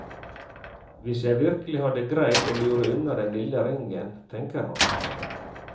Hvis jeg virkelig hadde greid å lure unna den lille ringen, tenker han.